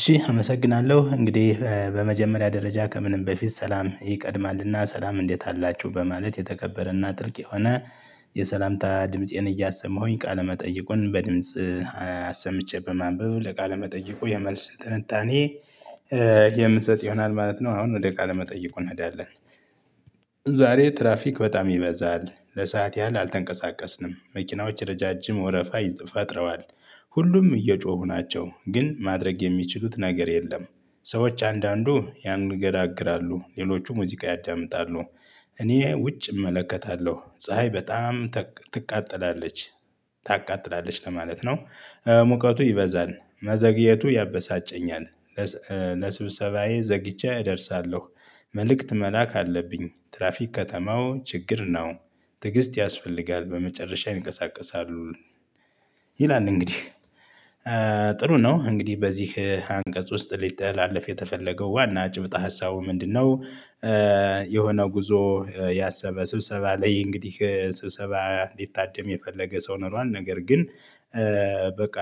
እሺ አመሰግናለሁ እንግዲህ በመጀመሪያ ደረጃ ከምንም በፊት ሰላም ይቀድማልና ሰላም እንዴት አላችሁ በማለት የተከበረና ጥልቅ የሆነ የሰላምታ ድምፄን እያሰማሁኝ ቃለመጠየቁን በድምጽ አሰምቼ በማንበብ ለቃለመጠይቁ የመልስ ትንታኔ የምሰጥ ይሆናል ማለት ነው። አሁን ወደ ቃለ መጠይቁ እንሄዳለን። ዛሬ ትራፊክ በጣም ይበዛል ለሰአት ያህል አልተንቀሳቀስንም መኪናዎች ረጃጅም ወረፋ ፈጥረዋል። ሁሉም እየጮሁ ናቸው ግን ማድረግ የሚችሉት ነገር የለም። ሰዎች አንዳንዱ ያንንገራግራሉ ሌሎቹ ሙዚቃ ያዳምጣሉ። እኔ ውጭ እመለከታለሁ ፀሀይ በጣም ትቃጠላለች ታቃጥላለች ለማለት ነው። ሙቀቱ ይበዛል መዘግየቱ ያበሳጨኛል። ለስብሰባዬ ዘግይቼ እደርሳለሁ። መልእክት መላክ አለብኝ። ትራፊክ ከተማው ችግር ነው። ትዕግስት ያስፈልጋል በመጨረሻ ይንቀሳቀሳሉ። ይላል እንግዲህ። ጥሩ ነው እንግዲህ በዚህ አንቀጽ ውስጥ ሊተላለፍ የተፈለገው ዋና ጭብጠ ሀሳቡ ምንድነው? የሆነ ጉዞ ያሰበ ስብሰባ ላይ እንግዲህ ስብሰባ እንዲታደም የፈለገ ሰው ኖሯል ነገር ግን። በቃ